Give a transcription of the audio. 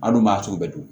An dun b'a sugu bɛɛ dun